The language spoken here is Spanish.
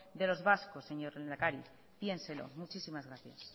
de los vascos señor lehendakari piénselo muchísimas gracias